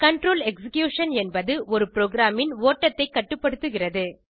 control execution என்பது ஒரு ப்ரோகிராமின் ஓட்டத்தைக் கட்டுப்படுத்துகிறது